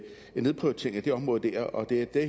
det her